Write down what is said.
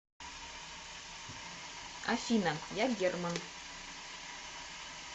афина я герман